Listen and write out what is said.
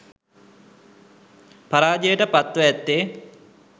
පරාජයට පත්ව ඇත්තේ